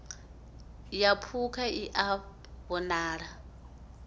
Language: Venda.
ya phukha i a ṱo